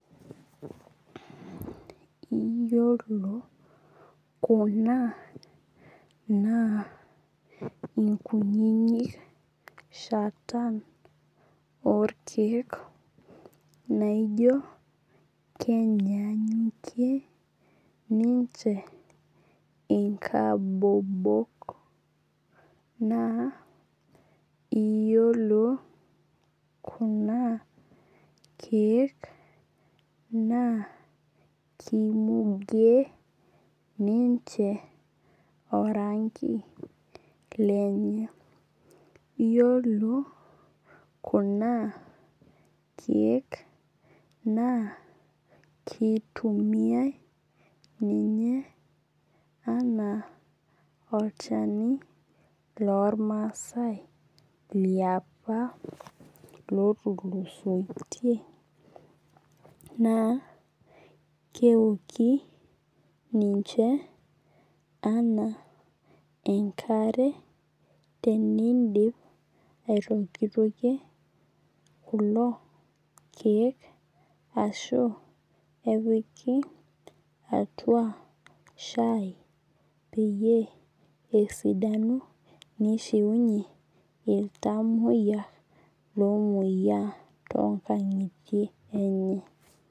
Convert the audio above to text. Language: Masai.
Iyiolo kuna naa inkunyinyik oo irkeek naijo kenyanyukie ninche inkabobok. Naa iyiolo kuna keek naa kimuge ninche oranki lenye. Iyiolo kuna keek naa kitumiai ninye anaa olchani loo irmasae liapa lootulusoitie naa keoki ninche naa enkare tenidip aitokitokie kulo keek ashu epiki atua shai peyie esidanu nishiunye iltamoyia loomoyia too nkang'itie enye.